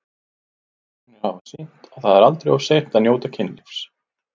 Rannsóknir hafa sýnt að það er aldrei of seint að njóta kynlífs.